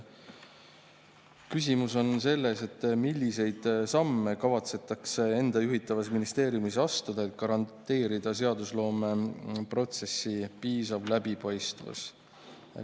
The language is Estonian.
Küsimus on selles, milliseid samme ta kavatseb enda juhitavas ministeeriumis astuda, et garanteerida seadusloomeprotsessi piisav läbipaistvus.